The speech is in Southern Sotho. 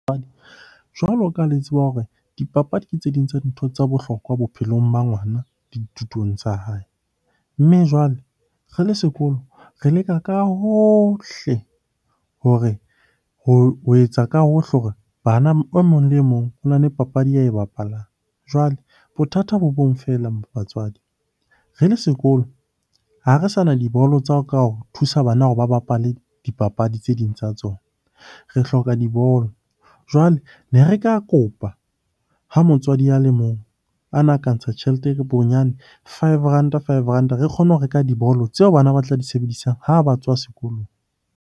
Jwalo ka ha le tseba hore dipapadi ke tse ding tsa dintho tsa bohlokwa bophelong ba ngwana dithutong tsa hae. Mme jwale re le sekolo re leka ka hohle hore, ho etsa ka hohle hore bana e mong le mong ona le papadi ya e bapalang. Jwale bothata bo bong feela batswadi, re le sekolo ha re sa na dibolo tsa ho ka o thusa bana hore ba bapale dipapadi tse ding tsa tsona. Re hloka dibolo, jwale ne re ka kopa ha motswadi a le mong a na ka ntsha tjhelete bonyane five ranta, five ranta re kgone ho reka dibolo tseo bana ba tla di sebedisang ha ba tswa sekolong.